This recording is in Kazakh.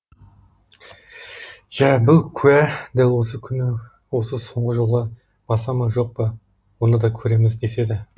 жә бұл куә дәл осы күні осы соңғы жолға баса ма жоқ па оны да көреміз деседі